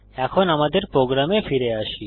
এখন আমাদের প্রোগ্রামে ফিরে আসি